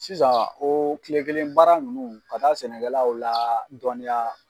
Sisan o tile kelen baara ninnu ka taa sɛnɛkɛlaw ladɔɔninya.